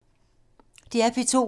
DR P2